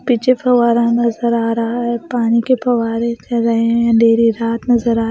पीछे फव्वारा नजर आ रहा है पानी के फव्वारे चल रहे हैं अंधेरी रात नजर आ रही--